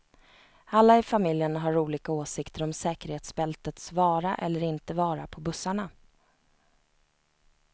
Alla i familjen har olika åsikter om säkerhetsbältets vara eller inte vara på bussarna.